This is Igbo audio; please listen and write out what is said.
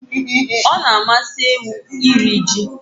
Ọ na-amasị ewu iri ji